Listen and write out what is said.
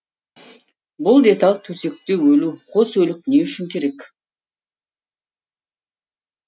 бұл деталь төсекте өлу қос өлік не үшін керек